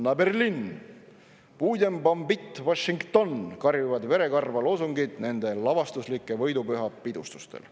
"Na Berlin!", "Budem bombit Washington!" karjuvad verekarva loosungid nende lavastuslikel võidupühapidustustel.